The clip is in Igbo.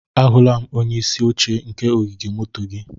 Ahụla m onye isi oche nke ogige moto gị.